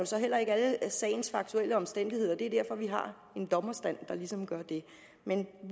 så heller ikke alle sagens faktuelle omstændigheder det er derfor vi har en dommerstand der ligesom gør det men